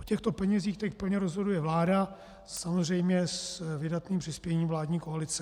O těchto penězích teď plně rozhoduje vláda, samozřejmě s vydatným přispěním vládní koalice.